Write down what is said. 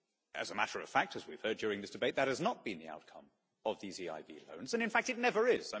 As a matter of fact, as we have heard during this debate, that has not been the outcome of these EIB loans, and in fact it never is.